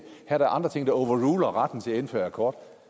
er der andre ting der overruler retten til at indføre akkord